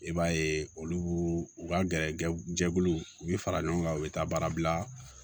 I b'a ye olu u ka gɛrɛ jɛkuluw u bɛ fara ɲɔgɔn kan u bɛ taa baara bila